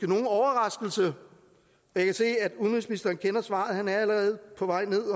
nogen overraskelse jeg kan se at udenrigsministeren kender svaret han er allerede på vej ned